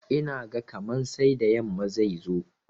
Ina ga kaman sai da yamma zai zo.